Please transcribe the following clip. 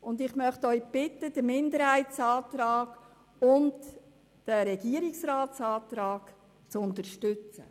Ich bitte Sie, den Minderheitsantrag und den Regierungsratsantrag zu unterstützen.